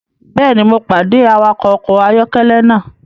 Bẹẹni, Mo pade pẹlu awakọ ọkọ ayọkẹlẹ naa